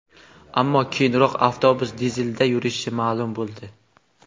ammo keyinroq avtobus dizelda yurishi ma’lum bo‘ldi.